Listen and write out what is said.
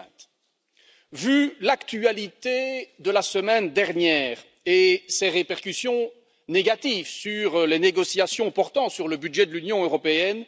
2020. Vu l'actualité de la semaine dernière et ses répercussions négatives sur les négociations portant sur le budget de l'Union européenne,